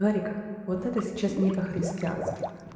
нарик вот это сейчас не по-христиански